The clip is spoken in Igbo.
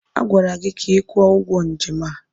Agwara gị ka ị kwụọ ụgwọ njem a!